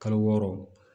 Kalo wɔɔrɔ